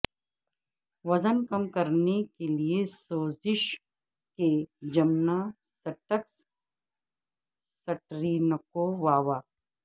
وزن کم کرنے کے لئے سوزش کے جمناسٹکس سٹرینکوواوا